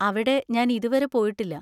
അവിടെ ഞാൻ ഇതു വരെ പോയിട്ടില്ല.